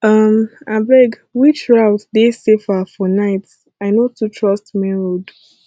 um abeg which route dey safer for night i no too trust main road